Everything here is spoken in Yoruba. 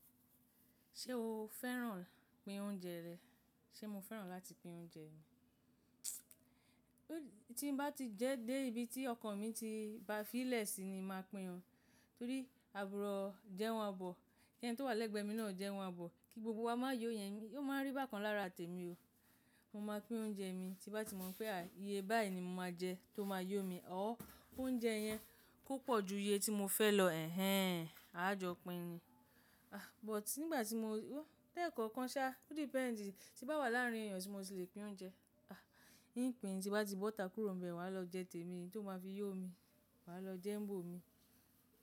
Ṣé o fẹ́ràn pín oúnjẹ rẹ? Ṣé mo fẹ́ràn láti pín oúnjẹ mi? Tí mo bá ti jẹ dé ibi tí ọkàn mi ti ba fí ìlẹ̀ sí ni màá pín o, torí àbúrò jẹ́ wọn àbọ̀, kí ẹni tó wà lẹ́gbẹ̀ẹ́ mi náà jẹ́ wọn àbọ̀, kí gbogbo wa má yó yẹn, ó máa ń rí bákan lára tèmi o. Mo máa pín oúnjẹ mi tí bá ti mọ̀ pé, ah iyé báyìí ni mo máa jẹ tó máa yó mi, ọ́r ki oúnjẹ yẹn ko pọ̀ ju iye tí mo fẹ́ lọ èhẹ́n, a jọ pín ni. Ah but nígbà tí mo-- lekọ̀ọ̀kan sá, o depend, tí bá wà láàárín èèyàn tí mo ti lè pín oúnjẹ, ah in pin tí bá ti bo ita kúrò bẹ wàá lọ jẹ tèmi, eyi tí ó máa fi yó mi, wàá lọ jẹ ńbò mi.